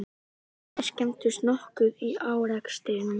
Bílarnir skemmdust nokkuð í árekstrinum